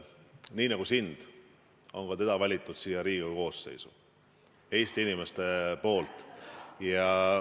Nii nagu sina nii on ka tema valitud siia Riigikogu koosseisu Eesti inimeste poolt.